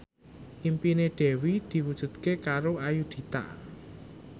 impine Dewi diwujudke karo Ayudhita